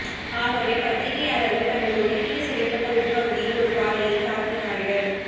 ஆகவே பத்திரிகையாளர்கள் தங்கள் ஒதுக்கீடு செய்யப்பட்ட உட்பகுதியில் ஒரு பாதையைத் தாக்கினார்கள்